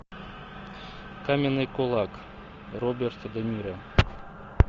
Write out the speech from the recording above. каменный кулак роберт де ниро